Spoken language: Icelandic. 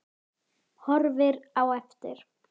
Horfir á eftir